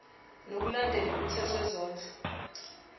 ngokulandela umthetho wezondlo